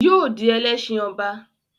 Yóò di Ẹlẹ́ṣin ọba